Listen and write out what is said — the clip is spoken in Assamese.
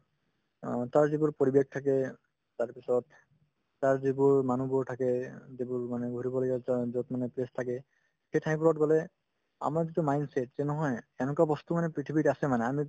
অ, তাৰ যিবোৰ পৰিৱেশ থাকে তাৰপিছত তাৰ যিবোৰ মানুহবোৰ থাকে অ যিবোৰ মানে ঘূৰিবলগীয়া জ য'ত মানে place থাকে সেই ঠাইবোৰত গ'লে আমাৰ যিটো mindset যে নহয় এনেকুৱা বস্তুয়ো মানে পৃথিৱীত আছে মানে আমি